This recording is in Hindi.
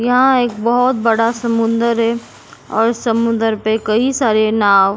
यहां एक बहुत बड़ा समुंद्र है और समुंदर पे कई सारे नाव --